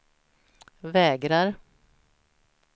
vägrar